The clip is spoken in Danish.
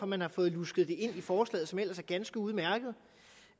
man har fået lusket det ind i forslaget som ellers er ganske udmærket